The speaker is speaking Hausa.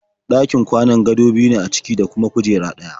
Ɗakin kwanan gado biyu ne a ciki da kuma kujera ɗaya.